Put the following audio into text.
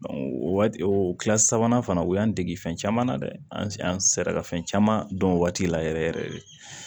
o waati o kilasi sabanan fana u y'an dege fɛn caman na dɛ an sera ka fɛn caman dɔn o waati la yɛrɛ yɛrɛ de